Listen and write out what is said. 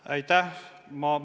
Aitäh!